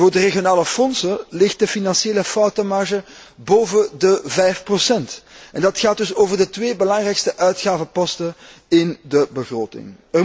Voor de regionale fondsen ligt de financiële foutenmarge boven de 5, en dat gaat dus over de twee belangrijkste uitgavenposten in de begroting.